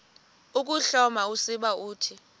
ukuhloma usiba uthi